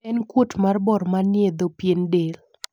en kuot mar bor manie dho pien del